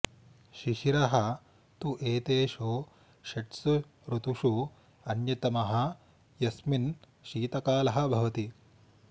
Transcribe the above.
शिशिरः तु एतेषु षट्सु ऋतुषु अन्यतमः यस्मिन् शीतकालः भवति